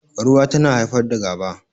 Rowa tana haifar da gaba